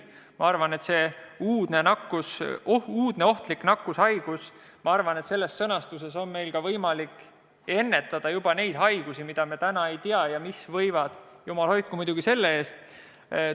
Ma arvan, et sõnastust "uudne ohtlik nakkushaigus" kasutades on meil võimalik ennetada ka neid haigusi, mida me täna veel ei tea, kuid mis võivad – jumal hoidku muidugi selle eest!